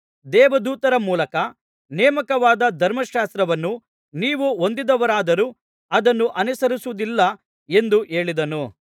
ದೇವದೂತರ ಮೂಲಕ ನೇಮಕವಾದ ಧರ್ಮಶಾಸ್ತ್ರವನ್ನು ನೀವು ಹೊಂದಿದವರಾದರೂ ಅದನ್ನು ಅನುಸರಿಸುವುದಿಲ್ಲ ಎಂದು ಹೇಳಿದನು